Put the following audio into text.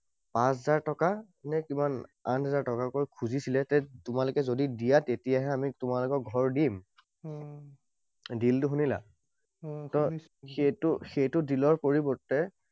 পাঁচ হাজাৰ টকা নে কিমান আঠ হাজাৰ টকাকৈ খুজিছিলে যে যদি তোমালোকে দিয়া, তেতিয়াহে আমি তোমালোকক ঘৰ দিম। Deal টো শুনিলা? সেইটো সেইটো deal ৰ পৰিৱৰ্তে